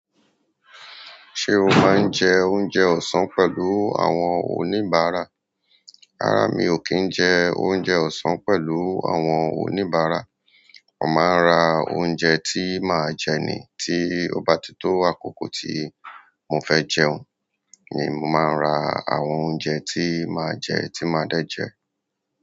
Ṣé o máa ń jẹ oúnjẹ ọ̀sán pẹ̀lú àwọn oníbàárà? Rárá, mi ò kí ń jẹ oúnjẹ ọ̀sán pẹ̀lú àwọn oníbàárà. Mo maa n ra ouje ti ma je ni tí ó bá ti tó àkókò tí mo fẹ́ jẹun ni mo máa ra àwọn oúnjẹ tí màá jẹ tí màá dẹ̀ jẹ.